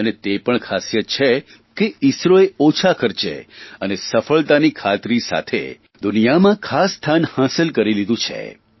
અને તે પણ ખાસિયત છે કે ઇસરોએ ઓછા ખર્ચે અને સફળતાની ખાતરી સાથે દુનિયામાં ખાસ સ્થાન હાંસ કરી લીધું છે